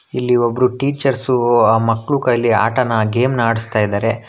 ಇಲ್ಲಿ ಒಬ್ಬರು ಟೀಚರ್ಸು ಆ ಮಕ್ಕಳು ಕೈಲಿ ಆತನ ಆ ಗೇಮ್ ನ ಆಡಸ್ತಾಇದಾರೆ.